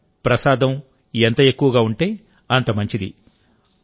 వరం ప్రసాదం ఎంత ఎక్కువగా ఉంటే అంత మంచిది